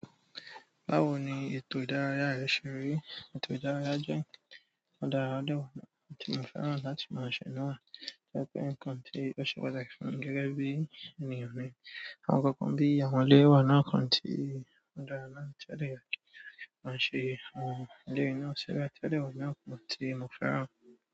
Báwo ni ètò ìdárayá rẹ ṣe rí? Ètò ìdárayá jẹ́ ọ̀daràn àdéhùn tí mo fẹ́ràn láti máa ṣe náà. Jẹ́ pé nǹkan tí ó ṣe pàtàkì fún mi gẹ́gẹ́ bí ènìyàn ni. Àwọn nkankan bi àwọn ọ̀rẹ́ mi wà náà kan ti o dára náà tí ó dẹ yẹ ki a ma ṣe. Àwọn ọ̀rẹ́ mi náà sì rí pé tí ó le wù mí á, ti mo fẹ́ràn.